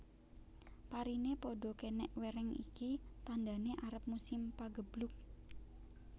Parine padha kenek wereng iki tandane arep musim pageblug